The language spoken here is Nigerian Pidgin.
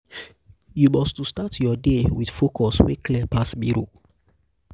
yu must to start yur day wit focus wey clear pass mirror